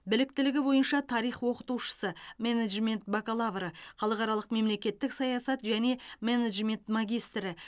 біліктілігі бойынша тарих оқытушысы менеджмент бакалавры халықаралық мемлекеттік саясат және менеджмент магистрі